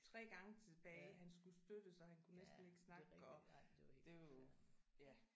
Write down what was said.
3 gange tilbage han skulle støttes og han kunne næsten ikke snakke og det er jo ja